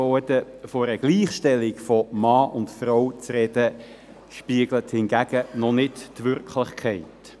Von einer Gleichstellung von Mann und Frau zu sprechen, widerspiegelt hingegen noch nicht die Wirklichkeit.